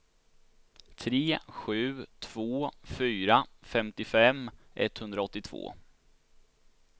tre sju två fyra femtiofem etthundraåttiotvå